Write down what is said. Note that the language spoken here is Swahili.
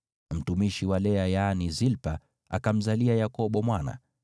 Mtumishi wa Lea yaani Zilpa, akamzalia Yakobo mwana.